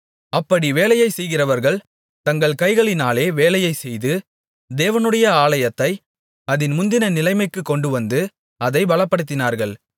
அப்படி வேலையை செய்கிறவர்கள் தங்கள் கைகளினாலே வேலையைச் செய்து தேவனுடைய ஆலயத்தை அதின் முந்தின நிலைமைக்குக் கொண்டுவந்து அதைப் பலப்படுத்தினார்கள்